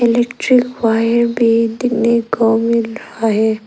Electric wire भी देखने को मिल रहा है।